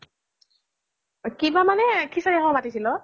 কিবা মানে সিচাৰি খাব মাতিছিল অ